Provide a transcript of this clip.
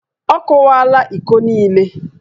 Ọ kụwaala íkó niile